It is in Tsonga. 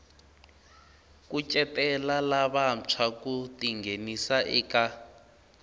kucetela lavantshwa ku tinghenisa eka